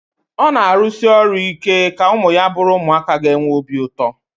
Ọ na-arụsi ọrụ ike ka ụmụ ya bụrụ ụmụaka ga-enwe obi ụtọ